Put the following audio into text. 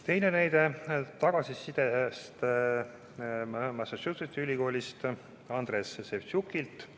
Veel üks näide tagasisidest on Massachusettsi Ülikoolist Andres Sevtšukilt.